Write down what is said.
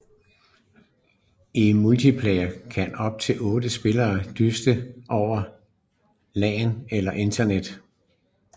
I multiplayer kan op til otte spillere dyste over LAN eller Internet